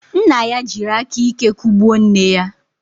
Nna ya jiri aka ike kụgbuo nne ya.